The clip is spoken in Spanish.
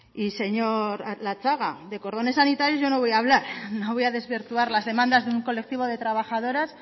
y señor latxaga de cordones sanitarios yo no voy a hablar no voy a desvirtuar las demandas de un colectivo de trabajadoras